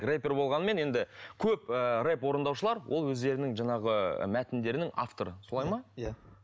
рэпер болғанымен енді көп ыыы рэп орындаушылар ол өздерінің жаңағы мәтіндерінің авторы солай ма иә